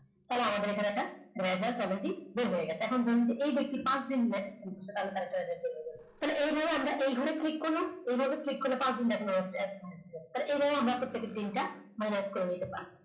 তাহলে আমাদের এখানে এটা এখন ধরুন এই ব্যক্তি পাঁচ দিন তাহলে এইভাবে আমরা এই ঘরে click করলাম এইভাবে click করলে পাঁচদিন দেখানো হচ্ছে তাহলে এইভাবে আমরা দিনটা find out করে নিতে পারব